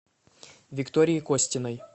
виктории костиной